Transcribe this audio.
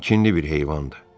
O kinli bir heyvandır.